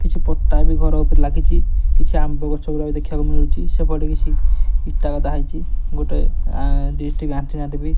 କିଛି ପଟ୍ଟା ବି ଘର ଉପରେ ଲାଗିଚି କିଛି ଆମ୍ବଗଛ ଗୁଡ଼ା ବି ଦେଖିଆକୁ ମିଳୁଚି ସେପଟେ କିଛି ଇଟା ଗଦା ହେଇଚି ଗୋଟାଏ ଡିଶ୍ ଟି_ଭି ଆଣ୍ଟିନା ଟେ ବି --